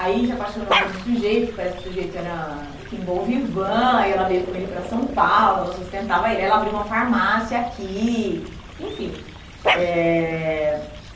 Aí, se apaixonou por um sujeito, que parece que o sujeito era, enfim, bom vivã, e ela veio com ele para São Paulo, ela sustentava ele, aí ela abriu uma farmácia aqui, enfim. Eh